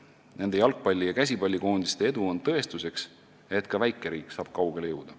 Nende jalgpalli- ja käsipallikoondiste edu on tõestuseks, et ka väikeriik saab kaugele jõuda.